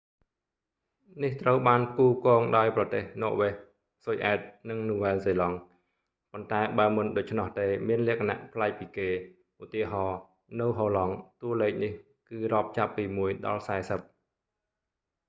នេះត្រូវបានផ្គូផ្គងដោយប្រទេស ន័រវែស ស៊ុយអែត និង នូវែលហ្សេឡង់ ប៉ុន្តែបើមិនដូច្នោះទេមានលក្ខណៈប្លែកពីគេ ឧទាហរណ៍ នៅហូឡង់ តួលេខនេះគឺរាប់ចាប់ពីមួយដល់សែសិប